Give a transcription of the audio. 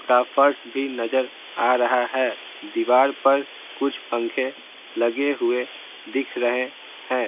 का फर्श भी नजर आ रहा है दीवार पर कुछ पंखे लगे हुए दिख रहे हैं।